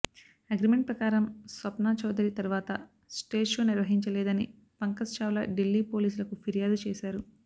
agreement ప్రకారం స్వప్నా చౌధరి తరువాత stage show నిర్వహించలేదని పంకజ్ చావ్లా ఢిల్లీ పోలీసులకు ఫిర్యాదు చేశారు